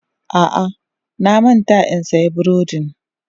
A'a, na manta in siyan burodin.